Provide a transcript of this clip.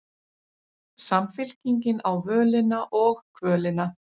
Samfylkingin á völina og kvölina